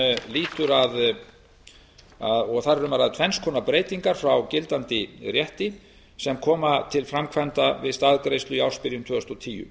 í eigin félögum þar er um að ræða tvenns konar breytingar frá gildandi rétti sem kom til framkvæmda við staðgreiðslu í ársbyrjun tvö þúsund og tíu